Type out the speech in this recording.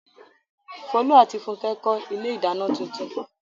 Folú àti Fúnkẹ́ kọ́ ilé-ìdáná tuntun.